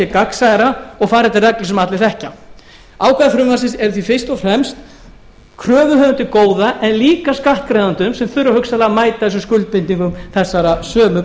gagnsærra og farið eftir reglum sem allir þekkja ákvæði frumvarpsins eru því fyrst og fremst kröfuhöfum til góða en líka skattgreiðendum sem þurfa hugsanlega að mæta skuldbindingum þessara sömu